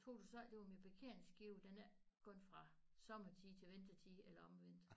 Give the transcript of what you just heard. Tror du så ikke det var min parkeringsskive den er ikke gået fra sommertid til vintertid eller omvendt